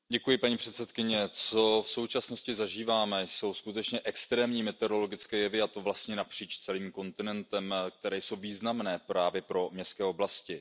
Paní předsedající, co v současnosti zažíváme, jsou skutečně extrémní meteorologické jevy a to vlastně napříč celým kontinentem které jsou významné právě pro městské oblasti.